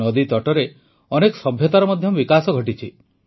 ନଦୀତଟରେ ଅନେକ ସଭ୍ୟତାର ମଧ୍ୟ ବିକାଶ ଘଟିଛି